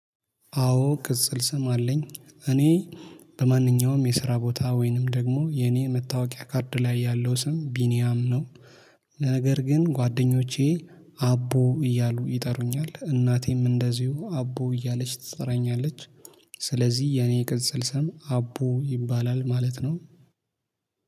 አዎ ቅጽል ስም አለኝ እኔ በማንኛውም የስራ ቦታ ወይንም ደግሞ የኔ መታወቂያ ካርድ ላይ ያለው ስም ቢኒያም ነው። ነገር ግን ጓደኞቼ አቦ እያሉ ይጠሩኛል እናቴም እንደዚሁ አቦ እያለች ትጠራኛለች። ስለዚህ የኔ ቅጽል ስም አቦ ይባላል ማለት ነው